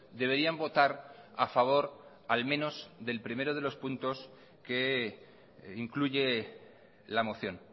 deberían votar a favor al menos del primero de los puntos que incluye la moción